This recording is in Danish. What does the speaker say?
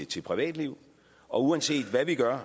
til privatliv og uanset hvad vi gør